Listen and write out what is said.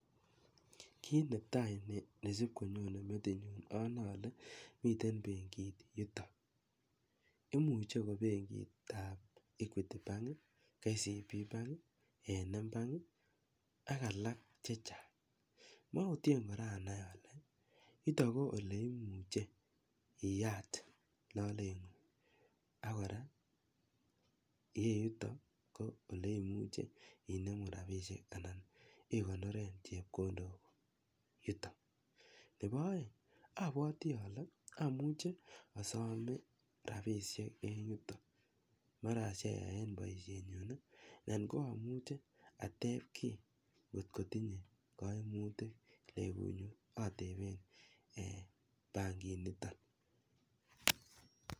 Kit netai nesib konyonen metinyun anae ale miten benkit yuton imuche kobenkit ab Equity bank, KCB bank ,m bank ak alak chechang mauten kora anai Kole niton ko ole imuche biyat lalenging akoraa iyeyuton oleimuche inemu rabinik akikonoren chepkondok yuto Nebo aeng abwati ale amuche asome rabinik en yuton bmara acheng en baishet ako amuche ateb ki akaimutik ateben en bankit niton